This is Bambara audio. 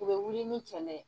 U bɛ wili ni kɛlɛ